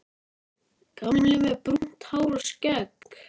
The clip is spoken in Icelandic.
Gamli, með brúnt hár og skegg.